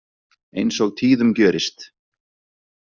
Eins og tíðum gjörist.